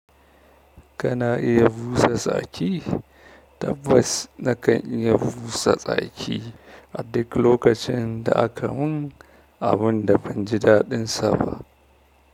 Kana iya busa tsaki? Tabbas na kan iya busa tsaki a duk lokacin da aka mun abun da ban ji daɗinsa ba.